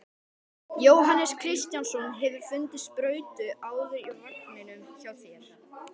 Jóhannes Kristjánsson: Hefurðu fundið sprautur áður í vagninum hjá þér?